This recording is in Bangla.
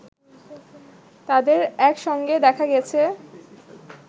তাদের একসঙ্গে দেখা গেছে